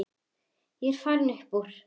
Ég er farinn upp úr.